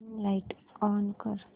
dim light on कर